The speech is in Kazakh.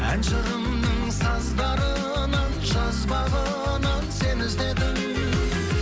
ән жырымның саздарынан жазбағынан сені іздедім